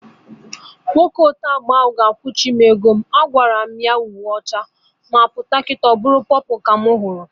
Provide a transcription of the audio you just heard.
Nwoke ote agba ahụ ga-akwuchim ụgwọ m! Agwaram ya uhie ọcha, m pụta kịta ọbụrụ pọpụlụ ka mụ hụrụ